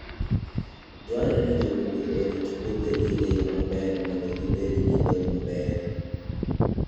Dwarore ni jopur orit puothegi e yo maber mondo gibed gi lowo maber.